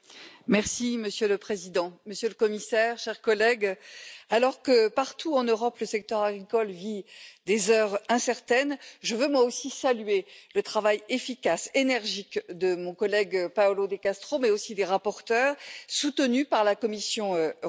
Monsieur le Président, Monsieur le Commissaire, chers collègues, alors que partout en Europe, le secteur agricole vit des heures incertaines, je veux moi aussi saluer le travail efficace et énergique de mon collègue Paolo De Castro, mais aussi des rapporteurs, soutenu par la Commission européenne.